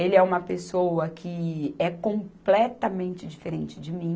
Ele é uma pessoa que é completamente diferente de mim,